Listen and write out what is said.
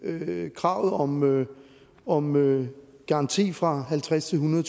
at hæve kravet om om garanti fra halvtredstusind